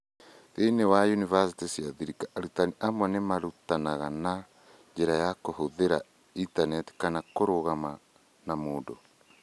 Thĩinĩ wa yunivasĩtĩ cia thirikari, arutani amwe nĩ marutanaga na njĩra ya kũhũthĩra intaneti kana kũrũgama na mũndũ.